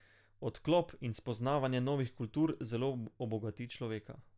Odklop in spoznavanje novih kultur zelo obogati človeka.